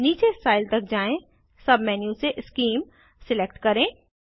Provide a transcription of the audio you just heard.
नीचे स्टाइल तक जाएँ सब मेन्यू से शीम सिलेक्ट करें